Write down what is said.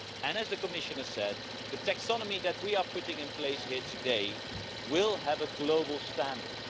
As the Commissioner said, the taxonomy that we are putting in place here today will be a global standard.